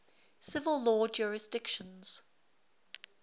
civil law jurisdictions